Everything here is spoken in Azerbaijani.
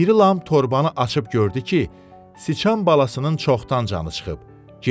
İri lam torbanı açıb gördü ki, sıçan balasının çoxdan canı çıxıb.